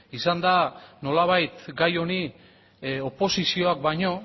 izan da nolabait gai honi oposizioak baino